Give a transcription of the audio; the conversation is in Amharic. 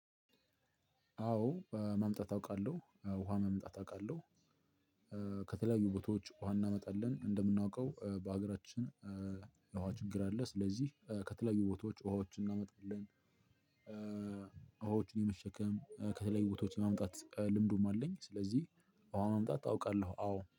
አወ ማምጣት አውቃለሁ። ውሃ ማምጣት አውቃለሁ። ከተለያዩ ቦታወች ውሃ እናመጣለን። እንደምናውቀው በሀገራችን የውሃ ችግር አለ ስለዚህ ከተለያዩ ቦታወች ዉሃወችን እናመጣለን ዉሃወችን የመሸከም ከተለያዩ ቦታዎች የማምጣት ልምዱም አለኝ ስለዚህ ውሃ ማምጣት አውቃለሁ። አዎ።